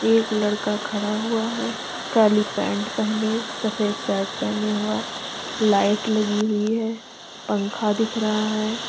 एक लड़का खड़ा हुआ है काली पैंट पहने सफेद शर्ट पहने हुआ लाइट लगी हुई है पंखा दिख रहा है।